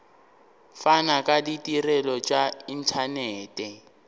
fana ka ditirelo tša inthanete